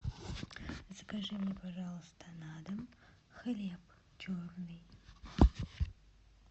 закажи мне пожалуйста на дом хлеб черный